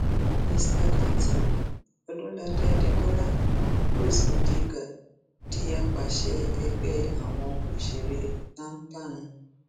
mr látìn ọdúnlàdé adékọlá rose odika di àpasẹ ẹgbẹ àwọn òṣèré jampan